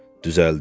Düzəldi.